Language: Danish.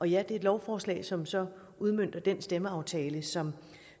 ja det er et lovforslag som som udmønter den stemmeaftale som